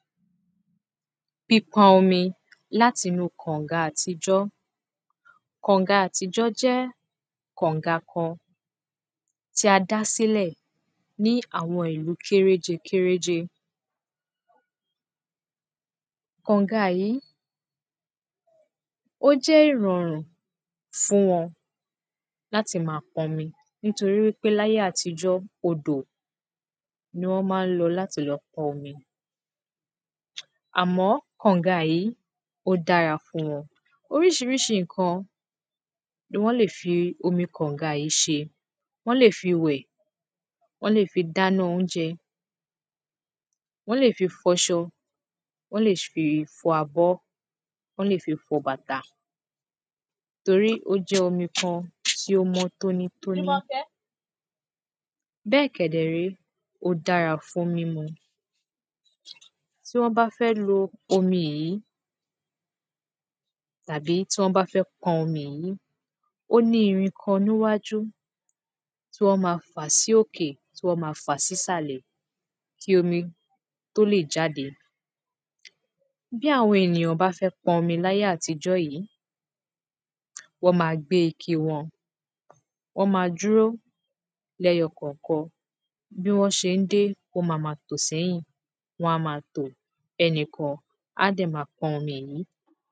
Pípo̩nmi látinú kànga àtijó̩ Kànga àtijó̩ jé̩ kànga kan tí a dasílè̩ ní àwo̩n ìlú kéréje kéréje. Kànga yí ó jé̩ ìrò̩rùn fún wo̩n láti ma po̩nmi. Nítorí wípé láyé àtijó̩ odò ni wó̩n má ń lo̩ láti lo̩ po̩nmi. Àmó̩ kànga yí, ó dára fún wo̩n. Orís̩irís̩i ǹkan ni wó̩n lè fi omi kànga yí s̩e. Wó̩n lè fi wè̩. Wó̩n lè fi dáná oúnje̩. Wó̩n lè fi fo̩s̩o̩. Wó̩n lè s fi fo̩ abó̩. Wó̩n lè fi fo̩ bàtà. Torí ó jé̩ omi kan tí ó mó̩ tóní tóní. Bé̩è̩ kè̩dè̩ ré, ó dára fún mínu. Tí wó̩n bá fé̩ lo omi yí, tàbí tí wó̩n bá fé̩ po̩n omi yí, ó ní irin kan níwájú tí wó̩n ma fà sí òkè tí wó̩n ma fà sí ìsàlè̩ kí omi tó lè jáde wá. Bí àwo̩n ènìyàn bá fé̩ ponmi ní ayé àtijó̩ yí, wó̩n ma gbé ike wo̩n, wó̩n ma dúró lé̩yo̩ kò̩ò̩kan. Bí wó̩n s̩e ń dé, wó̩n ma ma tò sé̩yìn. Wó̩n á má a tò. E̩nìkan á dè̩ ma po̩n omi yí.